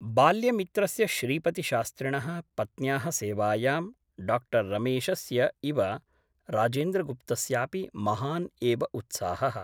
बाल्यमित्रस्य श्रीपतिशास्त्रिणः पत्न्याः सेवायां डाक्टर् रमेशस्य इव राजेन्द्रगुप्तस्यापि महान् एव उत्साहः ।